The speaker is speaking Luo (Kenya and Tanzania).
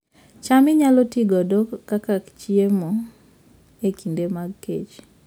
cham inyalo ti godo kaka chiemo e kinde mag kech